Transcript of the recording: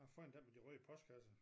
Fin den med de røde postkasser